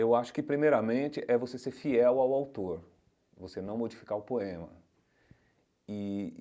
Eu acho que, primeiramente, é você ser fiel ao autor, você não modificar o poema e.